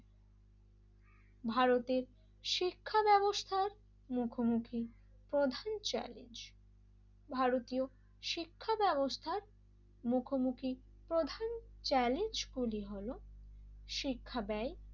ভারতের শিক্ষা ব্যবস্থার মুখোমুখি প্রধান চ্যালেঞ্জ ভারতীয় শিক্ষা ব্যবস্থার মুখোমুখি প্রধান চ্যালেঞ্জ গুলো হলো শিক্ষা ব্যয়,